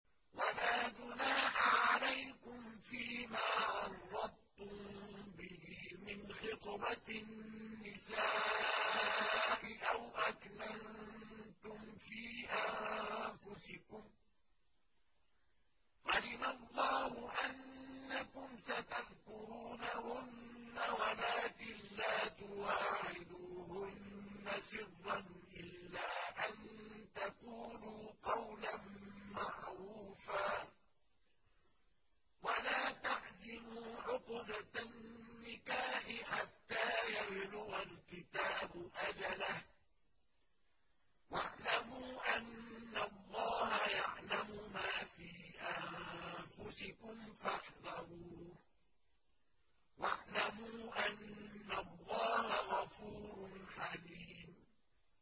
وَلَا جُنَاحَ عَلَيْكُمْ فِيمَا عَرَّضْتُم بِهِ مِنْ خِطْبَةِ النِّسَاءِ أَوْ أَكْنَنتُمْ فِي أَنفُسِكُمْ ۚ عَلِمَ اللَّهُ أَنَّكُمْ سَتَذْكُرُونَهُنَّ وَلَٰكِن لَّا تُوَاعِدُوهُنَّ سِرًّا إِلَّا أَن تَقُولُوا قَوْلًا مَّعْرُوفًا ۚ وَلَا تَعْزِمُوا عُقْدَةَ النِّكَاحِ حَتَّىٰ يَبْلُغَ الْكِتَابُ أَجَلَهُ ۚ وَاعْلَمُوا أَنَّ اللَّهَ يَعْلَمُ مَا فِي أَنفُسِكُمْ فَاحْذَرُوهُ ۚ وَاعْلَمُوا أَنَّ اللَّهَ غَفُورٌ حَلِيمٌ